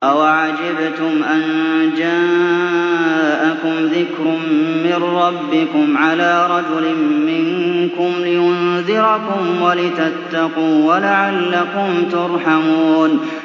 أَوَعَجِبْتُمْ أَن جَاءَكُمْ ذِكْرٌ مِّن رَّبِّكُمْ عَلَىٰ رَجُلٍ مِّنكُمْ لِيُنذِرَكُمْ وَلِتَتَّقُوا وَلَعَلَّكُمْ تُرْحَمُونَ